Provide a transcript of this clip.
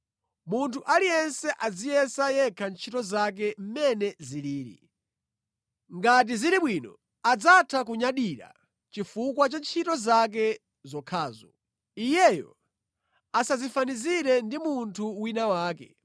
Munthu aliyense aziyesa yekha ntchito zake mmene zilili. Ngati zili bwino, adzatha kunyadira chifukwa cha ntchito zake zokhazo, iyeyo asadzifanizire ndi munthu wina wake,